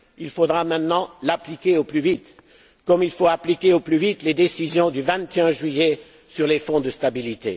Il faudra maintenant l'appliquer au plus vite, tout comme il faut appliquer au plus vite les décisions du 21 juillet sur les fonds de stabilité.